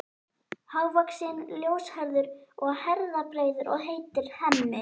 Hávaxinn, ljóshærður og herðabreiður og heitir Hemmi.